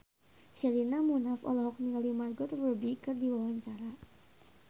Sherina Munaf olohok ningali Margot Robbie keur diwawancara